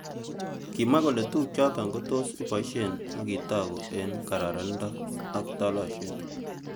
Kimwa kole tukyotok kotos iboishe akitoku eng kararando ak talosiet.